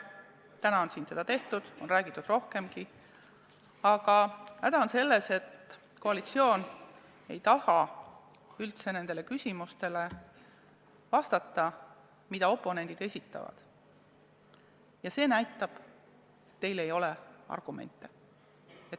Täna on siin seda tehtud, on räägitud rohkemgi, aga häda on selles, et koalitsioon ei taha üldse vastata küsimustele, mida oponendid esitavad, ja see näitab, et teil ei ole argumente.